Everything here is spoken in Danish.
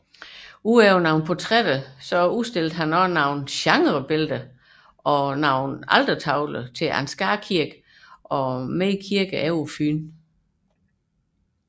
Foruden portrætter udstillede han også nogle genrebilleder og udførte altertavler til Ansgar Kirke og flere kirker på Fyn